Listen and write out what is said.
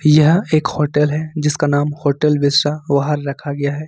यह एक होटल है जिसका नाम होटल बिसरा वहार रखा गया है।